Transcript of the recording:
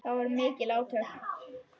Það voru mikil átök.